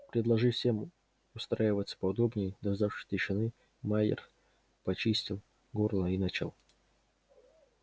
предложив всем устраиваться поудобнее и дождавшись тишины майер почистил горло и начал